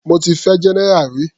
Mo ti fẹ́ general rí.